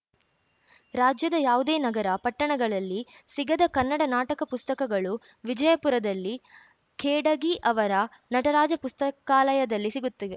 ರಾಜ್ಯದ ಯಾವುದೇ ನಗರ ಪಟ್ಟಣಗಳಲ್ಲಿ ಸಿಗದ ಕನ್ನಡ ನಾಟಕ ಪುಸ್ತಕಗಳು ವಿಜಯಪುರದಲ್ಲಿ ಖೇಡಗಿ ಅವರ ನಟರಾಜ ಪುಸ್ತಕಾಲಯದಲ್ಲಿ ಸಿಗುತ್ತಿವೆ